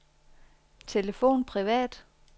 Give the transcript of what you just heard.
telefon privat